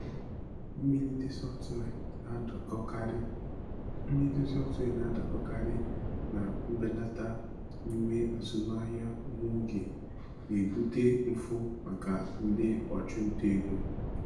Mmelite sọftụwia na-adakọkarị Mmelite sọftụwia na-adakọkarị na mbelata nyiwe azụmaahịa nwa oge, na-ebute mfu maka ndị ọchụnta ego.